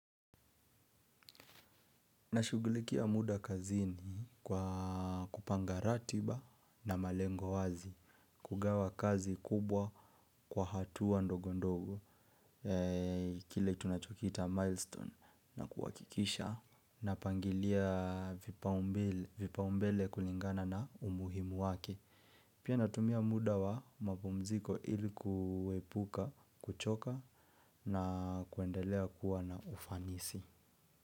Nashughulikia muda kazini kwa kupanga ratiba na malengo wazi kugawa kazi kubwa kwa hatua ndogo ndogo kile tunachokiita milestone na kuhakikisha napangilia vipao mbele kulingana na umuhimu wake. Pia natumia muda wa mapumziko ilikuepuka, kuchoka na kuendelea kuwa na ufanisi.